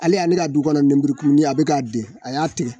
Ale ale ka du kɔnɔ lenburukumunin , a bɛ ka den, a y'a tigɛ.